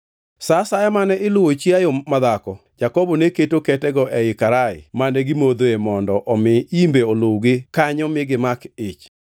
Sa asaya mane iluwo chiayo madhako, Jakobo ne keto ketego ei karaya mane gimodhoe mondo omi imbe oluwgi kanyo mi gimak ich,